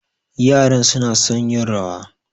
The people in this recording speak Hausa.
Yaran suna son yin rawa.